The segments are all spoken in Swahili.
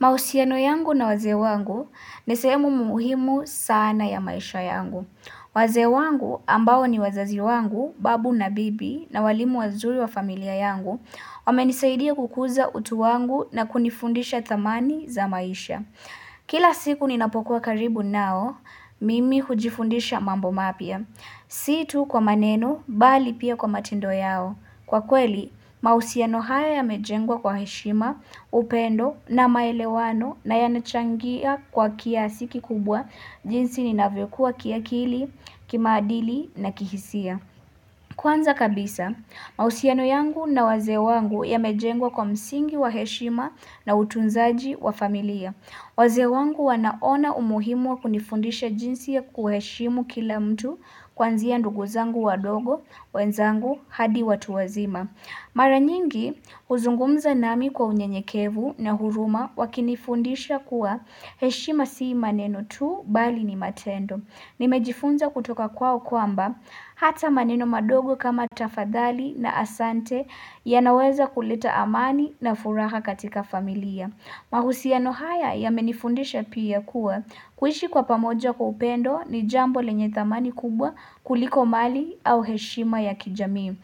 Mahusiano yangu na wazee wangu ni sehemu muhimu sana ya maisha yangu. Wazee wangu ambao ni wazazi wangu, babu na bibi na walimu wazuri wa familia yangu, wamenisaidia kukuza utu wangu na kunifundisha thamani za maisha. Kila siku ninapokuwa karibu nao, mimi hujifundisha mambo mapya. Si tu kwa maneno, bali pia kwa matendo yao. Kwa kweli, mahusiano haya yamejengwa kwa heshima, upendo na maelewano na yanachangia kwa kiasi kikubwa jinsi ninavyokua kiakili, kimaadili na kihisia. Kwanza kabisa, mahusiano yangu na wazee wangu yamejengwa kwa msingi wa heshima na utunzaji wa familia. Wazee wangu wanaona umuhimu wa kunifundisha jinsi ya kuheshimu kila mtu kwanzia ndugu zangu wadogo, wenzangu hadi watu wazima. Mara nyingi huzungumza nami kwa unyenyekevu na huruma wakinifundisha kuwa heshima si maneno tu bali ni matendo. Nimejifunza kutoka kwao kwamba hata maneno madogo kama tafadhali na asante yanaweza kuleta amani na furaha katika familia. Mahusiano haya yamenifundisha pia kuwa kuishi kwa pamoja kwa upendo ni jambo lenye thamani kubwa kuliko mali au heshima ya kijami.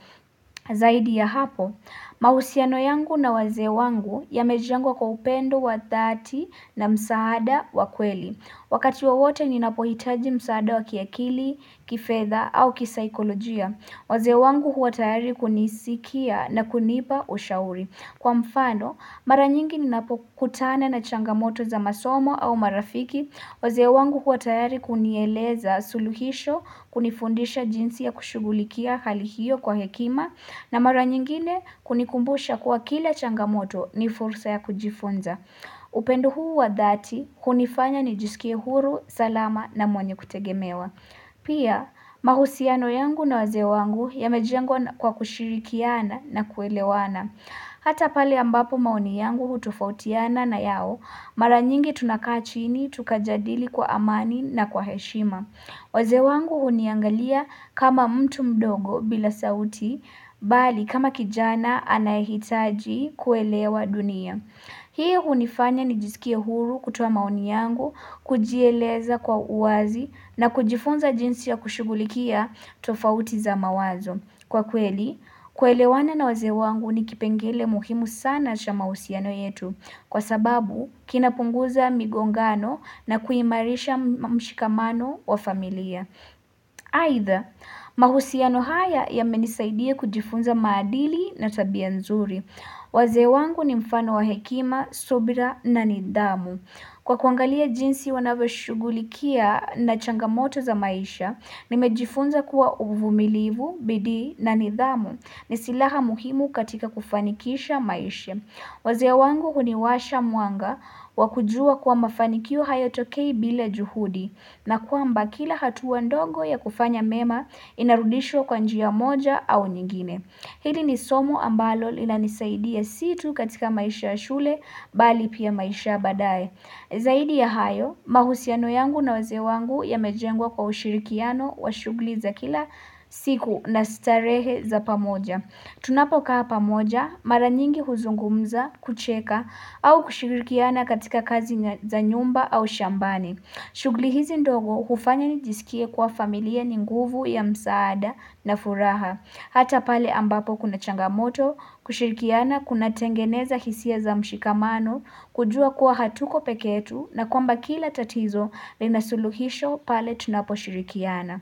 Zaidi ya hapo, mahusiano yangu na wazee wangu yamejengwa kwa upendo wa dhati na msaada wa kweli. Wakati wowote ninapohitaji msaada wa kiakili, kifedh au kisaikolojia. Wazee wangu huwa tayari kunisikia na kunipa ushauri. Kwa mfano, mara nyingi ninapokutana na changamoto za masomo au marafiki. Wazee wangu huwa tayari kunieleza suluhisho, kunifundisha jinsi ya kushughulikia hali hiyo kwa hekima. Na mara nyingine kunikumbusha kuwa kila changamoto ni fursa ya kujifunza. Upendu huu wa dhati hunifanya nijisikie huru, salama na mwenye kutegemewa. Pia mahusiano yangu na wazee wangu yamejengwa kwa kushirikiana na kuelewana. Hata pali ambapo maoni yangu hutofautiana na yao, mara nyingi tunakaa chini tukajadili kwa amani na kwa heshima. Wazee wangu huniangalia kama mtu mdogo bila sauti, bali kama kijana anayehitaji kuelewa dunia. Hii hunifanya nijisikie huru kutoa maoni yangu, kujieleza kwa uwazi na kujifunza jinsi ya kushugulikia tofauti za mawazo. Kwa kweli, kuelewana na wazee wangu ni kipengele muhimu sana cha mahusiano yetu kwa sababu kinapunguza migongano na kuiimarisha mshikamano wa familia. Aidha, mahusiano haya yamenisaidia kujifunza maadili na tabia nzuri. Wazee wangu ni mfano wa hekima, subira na nidhamu. Kwa kuangalia jinsi wanavyoshughulikia na changamoto za maisha, nimejifunza kuwa uvumilivu, bidii na nidhamu ni silaha muhimu katika kufanikisha maisha. Wazee wangu huniwasha mwanga wa kujua kuwa mafanikio hayatokei bila juhudi na kwamba kila hatua ndogo ya kufanya mema inarudishwa kwa njia moja au nyingine. Hili ni somo ambalo lilanisaidia si tu katika maisha ya shule bali pia maisha ya baadaye. Zaidi ya hayo, mahusiano yangu na wazee wangu yamejengwa kwa ushirikiano wa shughuli za kila siku na starehe za pamoja. Tunapokaa pamoja, mara nyingi huzungumza, kucheka, au kushirikiana katika kazi za nyumba au shambani. Shughuli hizi ndogo hufanya nijisikie kwa familia ni nguvu ya msaada na furaha. Hata pale ambapo kuna changamoto, kushirikiana, kunatengeneza hisia za mshikamano, kujua kuwa hatuko peke yetu, na kwamba kila tatizo linasuluhisho pale tunaposhirikiana.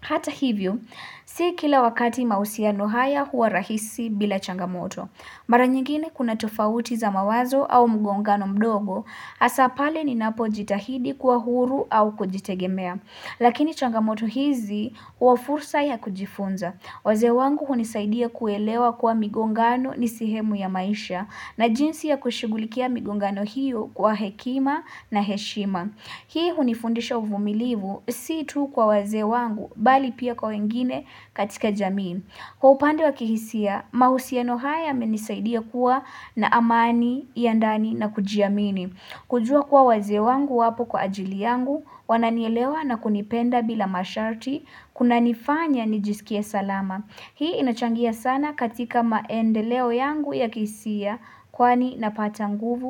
Hata hivyo, si kila wakati mahusiano haya huwa rahisi bila changamoto. Mara nyingine kuna tofauti za mawazo au mgongano mdogo, hasa pale ninapojitahidi kuwa huru au kujitegemea. Lakini changamoto hizi huwa fursa ya kujifunza. Wazee wangu hunisaidia kuelewa kuwa migongano ni sehemu ya maisha na jinsi ya kushughulikia migongano hiyo kwa hekima na heshima. Hii hunifundisha uvumilivu si tu kwa wazee wangu bali pia kwa wengine katika jamii. Kwa upande wa kihisia, mahusiano haya yamenisaidia kuwa na amani ya ndani na kujiamini. Kujua kuwa wazee wangu wapo kwa ajili yangu, wananielewa na kunipenda bila masharti, kunanifanya nijisikie salama. Hii inachangia sana katika maendeleo yangu ya kihisia, kwani napata nguvu.